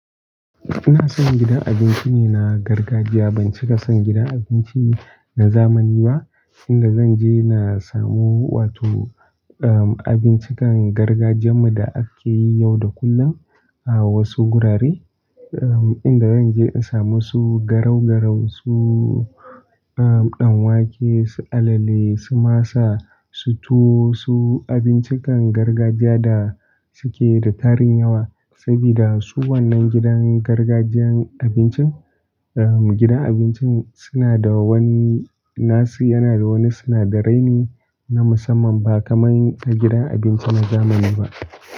Ina son gidan abinci ne na gargajiya. Ban cika son gidan abinci na zamani ba, inda zan je na samu wato, um, abincikan gargajiyan mu da ake yi yau da kullum a wasu gurare. Um, inda zan je in samu su garau-garau, su, um, ɗan wake, su alale, su masa, su tuwo, su abincikan gargajiya da suke da tarin yawa. Sabida su waƴannan gidan gargajiyan abincin, um, gidan abincin suna da wani, nasu yana da wani sinadarai ne na musamman ba kamar gidan abinci na zamani ba.